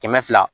Kɛmɛ fila